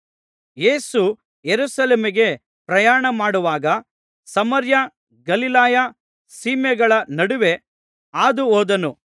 ಯೇಸು ಯೆರೂಸಲೇಮಿಗೆ ಪ್ರಯಾಣಮಾಡುವಾಗ ಸಮಾರ್ಯ ಗಲಿಲಾಯ ಸೀಮೆಗಳ ನಡುವೆ ಹಾದುಹೋದನು